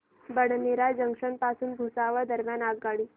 Badnera junction पासून भुसावळ दरम्यान आगगाडी